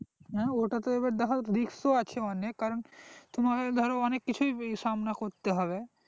হ্যাঁ ওটা তো এবার দ্যাখো risk তো আছে অনেক কারণ দ্যাখো তোমাকে অনেক কিছু সামনা করতে হবে